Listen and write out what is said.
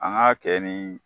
An ga kɛ ni